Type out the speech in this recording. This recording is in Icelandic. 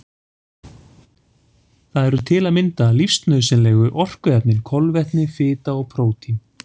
Það eru til að mynda lífsnauðsynlegu orkuefnin kolvetni, fita og prótín.